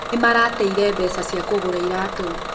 Nĩmarateĩre mbeca cia kũgũra iratũ.